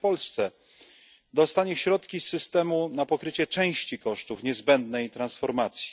jak Polska dostanie środki z systemu na pokrycie części kosztów niezbędnej transformacji.